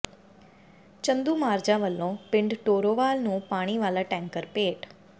ਚੰਦੂਮਾਜਰਾ ਵੱਲੋਂ ਪਿੰਡ ਟੋਰੋਵਾਲ ਨੰੂ ਪਾਣੀ ਵਾਲਾ ਟੈਂਕਰ ਭੇਟ